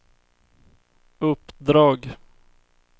uppdrag